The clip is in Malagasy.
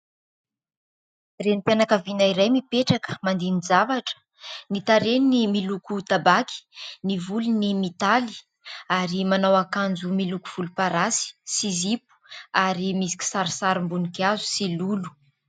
Renim-pianakaviana iray mipetraka mandini-javatra: ny tarehiny miloko tabaky, ny volony mitaly ary manao akanjo miloko volomparasy sy zipo ary misy kisarisarim-boninkazo sy lolo.